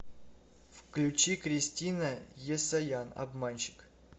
включи кристина есаян обманщик